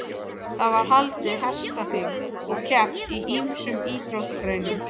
Það var haldið hestaþing og keppt í ýmsum íþróttagreinum.